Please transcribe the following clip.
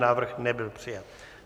Návrh nebyl přijat.